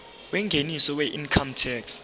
yengeniso weincome tax